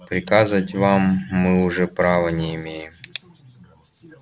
приказывать вам мы уже права не имеем